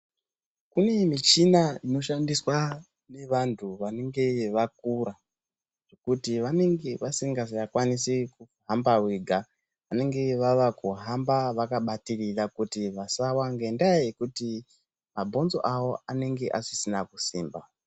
Kune michina inoshandiswa ngevandu vanenge vakura kuti vanenge vasingachakwanisi kuhamba vega vanenge vava kuhamba vakabatirira kuti vasawa ngendaa yekuti mabhonzo avo anenge asisina kusimba.